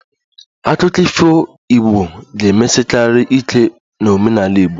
Akụkọ ifo Igbo ga-emesikarị ike n'omenala Igbo